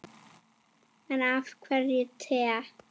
En af hverju te?